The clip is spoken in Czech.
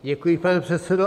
Děkuji, pane předsedo.